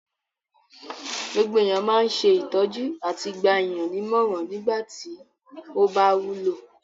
Gbogbo èèyàn máa ń ṣe ìtọ́jú àti gba èèyàn ní ìmọ̀ràn nígbà tí ó bá wúlò